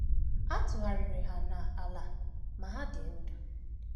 A tụgharịrị ha n’ala, ma ha dị ndụ.